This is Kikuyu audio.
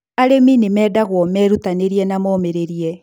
arĩmi nimendagũo merutanirie na momĩrĩrie